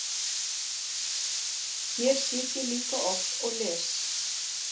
Hér sit ég líka oft og les.